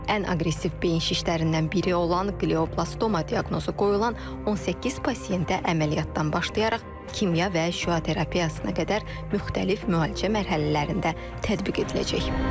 Ən aqressiv beyin şişlərindən biri olan qlioblastoma diaqnozu qoyulan 18 pasientə əməliyyatdan başlayaraq kimya və şüa terapiyasına qədər müxtəlif müalicə mərhələlərində tətbiq ediləcək.